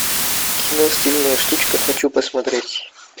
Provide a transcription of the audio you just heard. кино стильная штучка хочу посмотреть